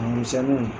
A misɛnninw